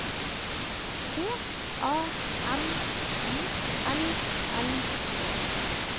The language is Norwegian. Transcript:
C A M I L L E